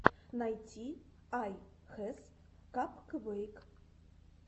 найти ай хэс капквэйк